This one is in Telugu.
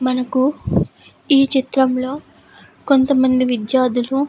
మనకు ఈ చిత్రంలో కొంతమంది విద్యార్థులు --